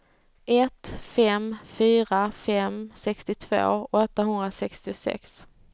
ett fem fyra fem sextiotvå åttahundrasextiosex